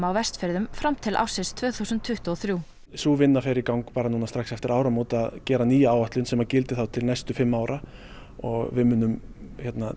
á Vestfjörðum fram til ársins tvö þúsund tuttugu og þrjú sú vinna fer í gang nú strax eftir áramót að gera nýja áætlun sem gildir þá til næstu fimm ára og við munum